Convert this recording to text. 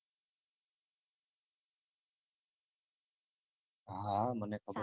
હા હા મને ખબર